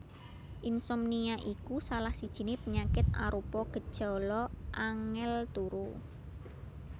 Insomnia iku salah sijiné penyakit arupa gejala angèl turu